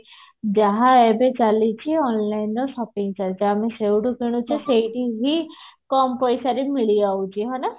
ଯାହା ଏବେ ଚାଲିଛି online ରେ shopping ଚାଲିଛି ଆଉ ମୁଁ ସେଇଠୁ କିଣୁଛି ସେଇଠୁ ହିଁ କମ ପଇସା ରେ ମିଳିଯାଉଛି ହଁ ନା